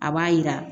A b'a yira